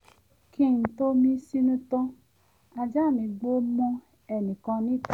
kí n tó mí sínú tán ajá mí gbó mọ́ ẹnìkan níta